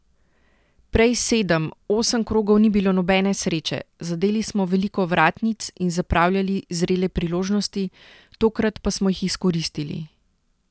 Prej sedem, osem krogov ni bilo nobene sreče, zadeli smo veliko vratnic in zapravljali zrele priložnosti, tokrat pa smo jih izkoristili.